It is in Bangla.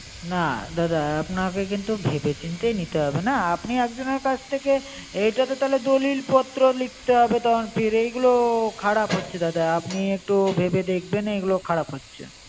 না দাদা আপনাকে কিন্তু ভেবে চিনতে হবে না আপনি একজনের কাছ থেকে এটাতো তারপর দলিল পত্র লিখতে হবে তখন ফের এইগুলো খারাপ হচ্ছে দাদা আপনি একটু ভেবে দেখবেন এইগুলো খারাপ হচেছ।